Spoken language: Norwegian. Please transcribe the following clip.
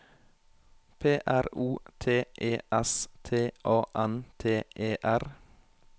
P R O T E S T A N T E R